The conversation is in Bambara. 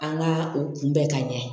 An ka o kunbɛ ka ɲɛ